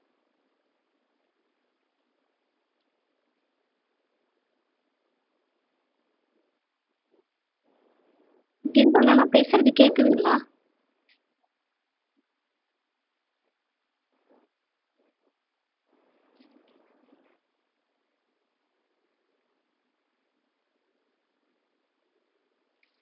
கிரிபாலா நான் பேசுறது கேக்குதுங்களா